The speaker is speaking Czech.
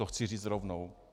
To chci říct rovnou.